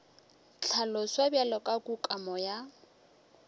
hlaloswa bjalo ka kukamo ya